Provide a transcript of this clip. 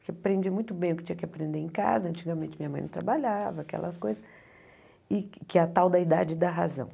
Porque aprendi muito bem o que tinha que aprender em casa, antigamente minha mãe não trabalhava, aquelas coisas, e que a tal da idade dá razão.